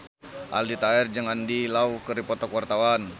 Aldi Taher jeung Andy Lau keur dipoto ku wartawan